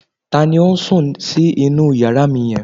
Ta ni ó sùn sí inú yàrá mi yẹn?